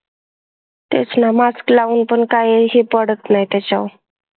तेच ना mask लाऊन पण काही हे पडत नाही त्याच्यावर